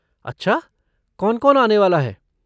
अच्छा, कौन कौन आने वाला है?